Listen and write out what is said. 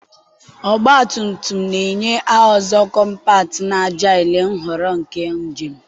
ọgba tum tum na-enye a ọzọ kọmpat na agile nhọrọ maka njem.